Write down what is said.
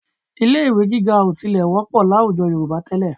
Ilé-ì̀wé gíga ò tilẹ̀ wọ́pọ̀ láwùjọ Yorùbá tẹ́lẹ̀